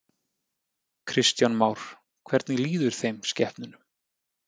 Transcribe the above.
Kristján Már: Hvernig líður þeim, skepnunum?